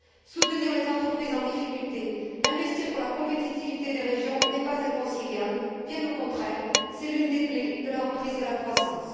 Soutenir les entreprises en difficulté, investir pour la compétitivité des régions, ce n'est pas inconciliable, bien au contraire, c'est l'une des clés de la reprise de la croissance.